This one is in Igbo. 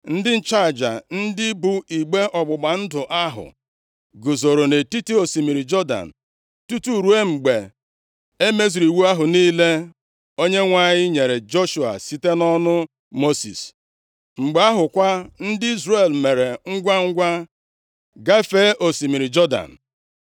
Ndị nchụaja, ndị bụ igbe ọgbụgba ndụ ahụ, guzoro nʼetiti osimiri Jọdan, tutu ruo mgbe e mezuru iwu ahụ niile Onyenwe anyị nyere Joshua site nʼọnụ Mosis. Mgbe ahụ kwa, ndị Izrel mere ngwangwa gafee osimiri Jọdan.